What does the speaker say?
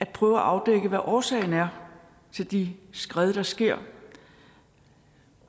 prøve at afdække hvad årsagen er til de skred der sker